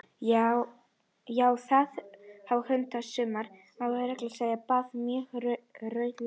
Já, það má baða hunda, og suma þarf meira að segja að baða mjög reglulega!